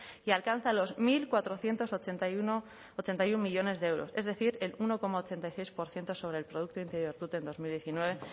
y alcanza los mil cuatrocientos ochenta y uno millónes de euros es decir el uno coma ochenta y seis por ciento sobre el producto interior bruto en dos mil diecinueve